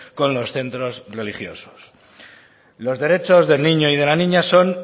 con los centros religiosos los derechos del niño y de la niña son